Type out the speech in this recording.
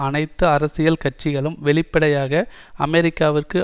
அனைத்து அரசியல் கட்சிகளும் வெளிப்படையாக அமெரிக்காவிற்கு